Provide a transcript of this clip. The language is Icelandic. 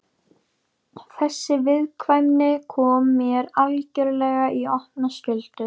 Þessi viðkvæmni kom mér algjörlega í opna skjöldu.